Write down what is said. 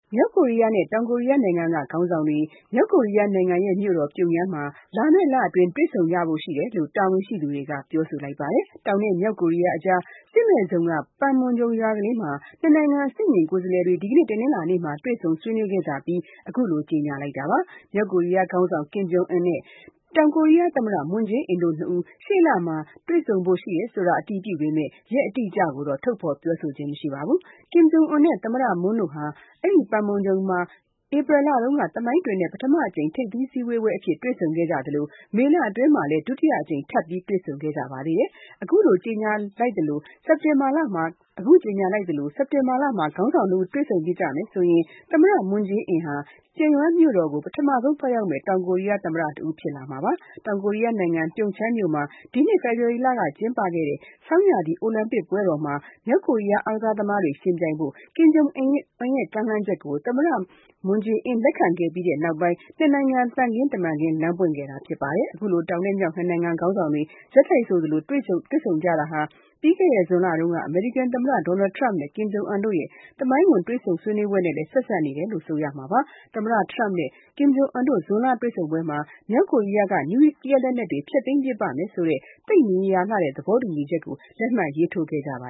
မြောက်ကိုရီးယားနဲ့ တောင်ကိုရီးယားနိုင်ငံက ခေါင်းဆောင်တွေ မြောက်ကိုရီးယားနိုင်ငံရဲ့ မြို့တော်ပြုံယမ်းမှာ လာမယ့်လအတွင်း တွေ့ဆုံကြဖို့ရှိတယ်လို့ တာဝန်ရှိသူတွေကပြောဆိုလိုက်ပါတယ်။ တောင်နဲ့ မြောက်ကိုရီးယားအကြား စစ်မဲ့ဇုန်က ပန်မွန်ဂျုံရွာကလေးမှာ နှစ်နိုင်ငံ အဆင့်မြင့်ကိုယ်စားလှယ်တွေ ဒီကနေ့တနင်္လာနေ့မှာ တွေ့ဆုံးဆွေးနွေးခဲ့ကြပြီး အခုလိုကြေညာလိုက်တာပါ။ မြောက်ကိုရီးယားခေါင်းဆောင် ကင်ဂျုံအွမ်နဲ့ တောင်ကိုရီးယားသမ္မတ မွန်းဂျေအင်းတို့ နှစ်ဦး ရှေ့လမှာ တွေ့ဆုံဖို အတည်ပြုပေမဲ့ ရင်အတိအကျတော့ ထုတ်ဖေါ်ပြောဆိုခြင်းမရှိပါဘူး။ ကင်ဂျိုအွမ်နဲ့ သမ္မတမွန်းတို့ဟာ အဲဒီ ပန်မွန်ဂျုံရွာမှာဘဲ ဧပြီလတုန်းက သမိုင်းတွင်တဲ့ ပထမအကြိမ်ထိပ်သီးစည်းဝေးအဖြစ်တွေ့ဆုံခဲ့ကြသလို မေလအတွင်းမှာ ဒုတိယအကြိမ် ထပ်ပြီး တွေ့ဆုံခဲ့ကြပါတယ်။ အခုကြေညာလိုက်သလို စက်တင်ဘာလမှာ ခေါင်းဆောင်နှစ်ဦး တွေ့ဆုံဖြစ်ကြမယ်ဆိုရင် သမ္မတမွန်းဂျေအင်းဟာ ပြုံယမ်းမြို့တော်ကို ပထမဆုံးသွားရောက်မယ့် တောင်ကိုရီယားသမ္မတဖြစ်လာမှာပါ။ တောင်ကိုရီးယားနိုင်ငံပြုံချမ်းမြို့မှာ ဒီနှစ် ဖေဖေါ်ဝါရီလကကျင်းပခဲ့တဲ့ ဆောင်းရာသီအိုလံပစ်ပွဲတော်မှာ မြောက်ကိုရီးယားအားကစားသမားတွေ ယှဉ်ပြိုင်ဖို့ ကင်ဂျုံအွမ်ရဲ့ ကမ်းလှမ်းချက်ကို သမ္မ မွန်းဂျေအင်က လက်ခံခဲ့ပြီးနေက်ပိုင်း နှစ်နိုင်ငံ သံခင်တမန်ခင်းလမ်းပွင့်ခဲ့တာဖြစ်ပါတယ်။ အခုလို တောင်နဲ့ မြောက် နှစ်နိုင်ငံခေါင်းဆောင်တွေ ဆက်တိုက်ဆိုသလိုတွေ့ဆုံကြတာဟာ ပြီးခဲ့တဲ့ ဇွန်လတုန်းက အမေရိကန်သမ္မတ Donald Trump နဲ့ ကင်ဂျုံအွမ်တို့ရဲ့ သမိုင်းဝင်တွေ့ဆုံပွဲနဲ့ လည်း ဆက်စပ်နေတယ်လို့ ဆိုရမှာပါ။ အမေရိကန်နဲ့ မြောက်ကိုးရီးယားခေါင်းဆောင်တို့ ဇွန်လတွေ့ဆုံပွဲမှာ မြောက်ကိုရီးယားက နျူကလီးယားလက်နက်တွေဖျက်သိမ်းပစ်ပါ့မယ်ဆိုတဲ့ သိပ်မရေရာတဲ့ သဘောတူညီချက် လက်မှတ်ရေးထိုးခဲ့ကြပါ